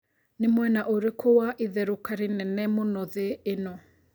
nĩ mwena ũrikũ wa ĩtheruka rĩnene mũno thĩ ĩno